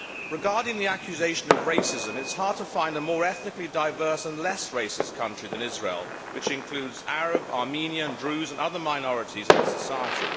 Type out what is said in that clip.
Regarding the accusation of racism, it is hard to find a more ethnically diverse and less racist county than Israel, which includes Arab, Armenian, Druze and other minorities in its society.